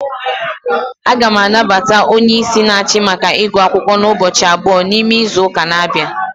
A ga m anabata onyeisi n'achi maka igu akwukwo n'ubochi about, n'ime izuuka n'abia